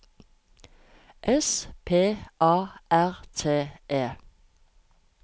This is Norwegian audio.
S P A R T E